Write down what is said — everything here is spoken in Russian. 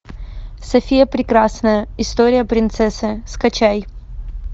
софия прекрасная история принцессы скачай